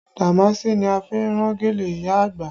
Damaasi ni a fi rán gèlè ìyá àgbà